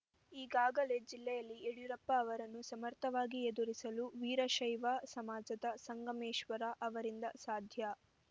ಈಗಾಗಲೇ ಜಿಲ್ಲೆಯಲ್ಲಿ ಯಡಿಯೂರಪ್ಪ ಅವರನ್ನು ಸಮರ್ಥವಾಗಿ ಎದುರಿಸಲು ವೀರಶೈವ ಸಮಾಜದ ಸಂಗಮೇಶ್ವರ್‌ ಅವರಿಂದ ಸಾಧ್ಯ